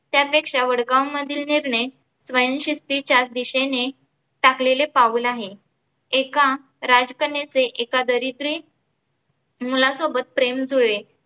त्यापेक्षा वडगाव मधील नेमने स्वयंशिस्थीच्या दिशेने टाकलेले पाऊल आहे. एका राज कन्यचे एका दरिद्री मुलासोबत प्रेम जुळले